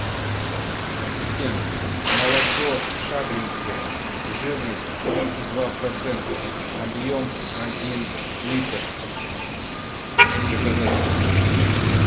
ассистент молоко шадринское жирность три и два процента объем один литр заказать